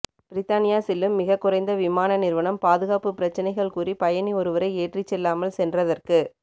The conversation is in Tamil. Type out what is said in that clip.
பிரித்தானியா செல்லும் மிகக் குறைந்த விமான நிறுவனம் பாதுகாப்பு பிரச்சனைகள் கூறி பயணி ஒருவரை ஏற்றிச் செல்லாமல் சென்றதற்கு